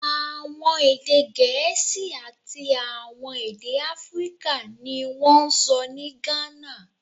Awọn ede Gẹẹsi ati awọn ede Afirika ni won n sọ ni Ghana